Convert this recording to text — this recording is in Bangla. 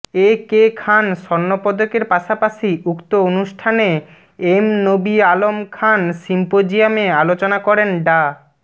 এ কে খান স্বর্ণপদকের পাশাপাশি উক্ত অনুষ্ঠানে এম নবী আলম খান সিম্পোজিয়ামে আলোচনা করেন ডা